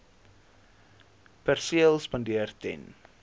perseel spandeer ten